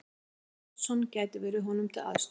Gunnar Oddsson gæti verið honum til aðstoðar.